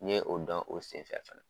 N ye o dɔn o sen fɛ fɛnɛ.